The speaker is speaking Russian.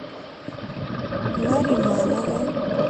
нариманову